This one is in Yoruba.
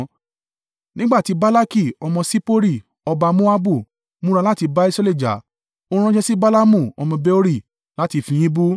Nígbà tí Balaki ọmọ Sippori, ọba Moabu, múra láti bá Israẹli jà, ó ránṣẹ́ sí Balaamu ọmọ Beori láti fi yín bú.